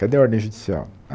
Cadê a ordem judicial? A